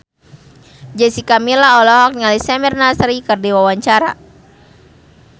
Jessica Milla olohok ningali Samir Nasri keur diwawancara